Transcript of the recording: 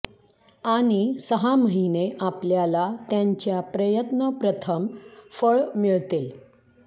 आणि सहा महिने आपल्याला त्यांच्या प्रयत्न प्रथम फळ मिळतील